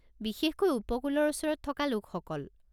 বিশেষকৈ উপকূলৰ ওচৰত থকা লোকসকল।